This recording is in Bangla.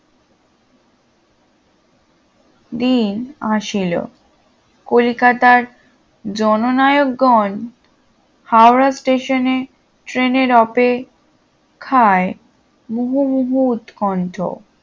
দিন আসিল কলিকাতার জননায়ক গণ হাওড়া স্টেশনে ট্রেনে অপেক্ষায় মুহুর্মুহু উৎকণ্ঠ